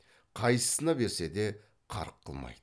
қайсысына берсе де қарқ қылмайды